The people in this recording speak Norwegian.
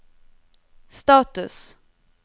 status